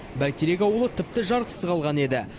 бәйтерек ауылы тіпті жарықсыз қалған еді